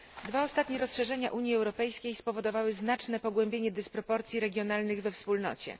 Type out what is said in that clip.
Dwa ostatnie rozszerzenia Unii Europejskiej spowodowały znaczne pogłębienie dysproporcji regionalnych we Wspólnocie.